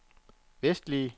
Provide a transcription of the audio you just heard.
vestlige